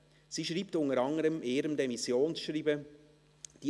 Sie schreibt in ihrem Demissionsschreiben unter anderen: